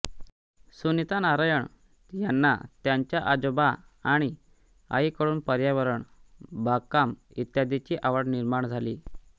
सुनीता नारायण यांना त्यांच्या आजोबां आणि आईकडून पर्यावरण बागकाम इत्यादीची आवड निर्माण झाली